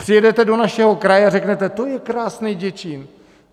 Přijedete do našeho kraje a řeknete: to je krásnej Děčín.